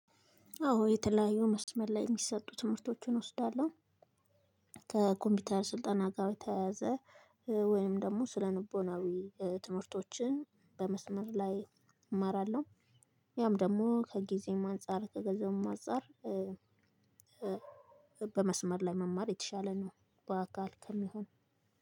አዎ የተለያዩ መስመር ላይ የሚሰጡ ትምህርቶችን እወስዳለሁ። ከኮምፒውተር ስልጠናጋር በተያያዘ ወይንም ደግሞ ስለልቦናዊ ትምህርቶች በመስመር ላይ እማራለሁ። ያም ደግሞ ከግዜም አንፃር ከገንዘብም አንፃር። በመስመር ላይ መማር የተሻለ ነው። በአካል ከሚሆን